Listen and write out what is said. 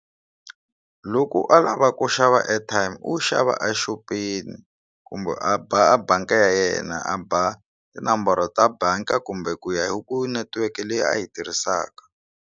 Loko a lava ku xava airtime u xava exopeni kumbe a a bangi ya yena a ba tinomboro ta bangi kumbe ku ya hi ku netiweke leyi a yi tirhisaka.